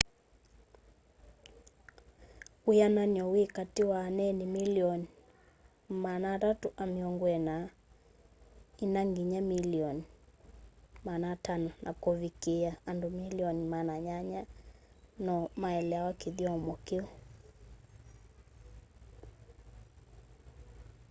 wĩanany'o wĩ katĩ wa aneeni milioni 340 ĩna nginya milioni 500 na kuvikiia andu milioni 800 no maelewa kĩthyomo kĩu